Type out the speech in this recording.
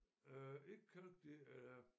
Øh ikke kalk det er